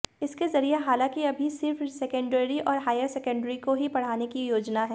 इसके जरिए हालांकि अभी सिर्फ सेकेंडरी और हायर सेकेंडरी को ही पढ़ाने की योजना है